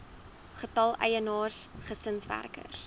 getal eienaars gesinswerkers